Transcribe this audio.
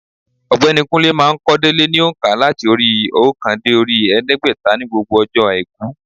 Ọ̀gbẹ́ni Kúnlé má a n kó délé ní ònkà láti orí óòkan dé orí èédégbèta ní gbogbo ọjọ́ àìkú